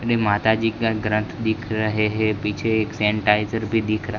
अपने माता जी का ग्रंथ दिख रहे हैं पीछे एक सैनिटाइजर भी दिख रा--